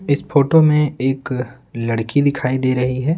इस फोटो में एक लड़की दिखाई दे रही है।